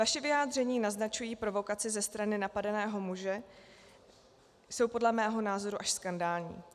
Vaše vyjádření naznačující provokaci ze strany napadeného muže jsou podle mého názoru až skandální.